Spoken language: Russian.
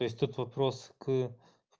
то есть тут вопрос к